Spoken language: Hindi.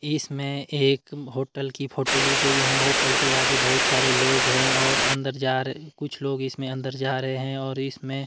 इसमें एक होटल की फोटो ली गई है होटल के आगे बहुत सारे लोग हैं और अंदर जा र कुछ लोग इसमें अंदर जा रहे हैं और इसमें--